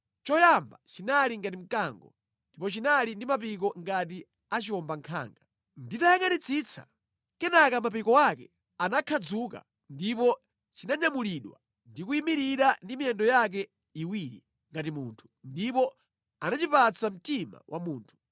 “Choyamba chinali ngati mkango, ndipo chinali ndi mapiko ngati a chiwombankhanga. Ndinayangʼanitsitsa, kenaka mapiko ake anakhadzuka ndipo chinanyamulidwa ndi kuyimirira ndi miyendo yake iwiri ngati munthu, ndipo anachipatsa mtima wa munthu.